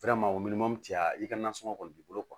cɛ ya i ka nansɔngɔ kɔni b'i bolo